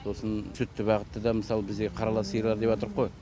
сосын сүтті бағытты да мысалы бізде қарала сиырлар деп отырық қой